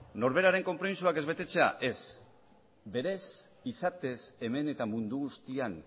norberaren konpromisoak ez betetzea ez berez izatez hemen eta mundu guztian